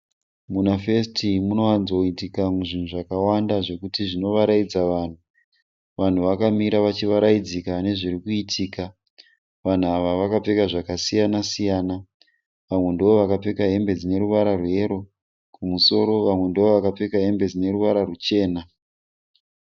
Muna fesiti munowanzoitika zvinhu zvakawanda zvekuti zvinovaraidza vanhu. Vanhu vakamira vachivaraidzika nezviri kuitika. Vanhu ava vakapfeka zvakasiyana siyana. Vamwe ndovakapfeka hembe dzine ruvara rweyero kumusoro vamwe ndovakapfeka hembe dzine ruvara ruchena.